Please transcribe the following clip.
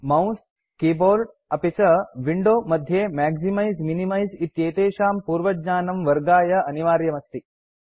mouse keyboard अपि च window मध्ये मैक्सिमाइज़ मिनिमाइज़ इत्येतेषां पूर्वज्ञानं वर्गाय अनिवार्यम् अस्ति